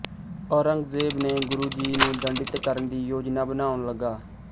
ਔਰੰਗਜੇਬ ਨੇ ਗੁਰੂ ਜੀ ਨੂੰ ਦੰਡਿਤ ਕਰਣ ਦੀ ਯੋਜਨਾ ਬਣਾਉਣ ਲਗਾ